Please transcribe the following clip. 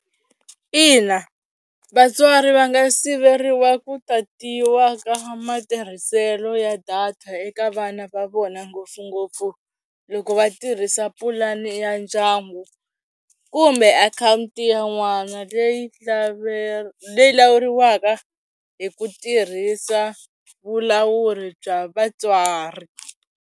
Ina vatswari va nga siveriwa ku tatiwa ka matirhiselo ya data eka vana va vona ngopfungopfu loko va tirhisa pulani ya ndyangu kumbe akhawunti ya n'wana leyi leyi lawuriwaka hi ku tirhisa vulawuri bya vatswari.